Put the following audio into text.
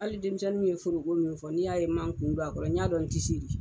Hali denmisɛnniw ye forko min fɔ ni n ma kun don a kɔrɔ, n y'a dɔn n tɛ se de.